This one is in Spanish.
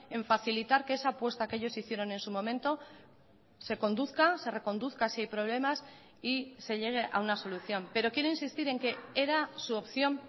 en facilitar que esa apuesta que ellos hicieron en su momento se conduzca se reconduzca si hay problemas y se llegue a una solución pero quiero insistir en que era su opción